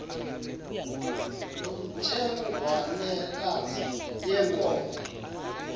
loo ntsengwanekazi yenkomo